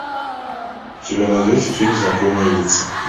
у тебя найдется фильм знакомые лица